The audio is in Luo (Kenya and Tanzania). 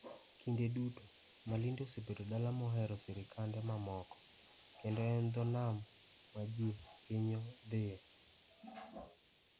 Kinde duto, Malindi osebedo dala mohero sirkande mamoko, kendo en dho nam ma ji hinyo dhiye.